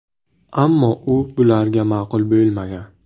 Ammo u bularga ma’qul bo‘lmagan.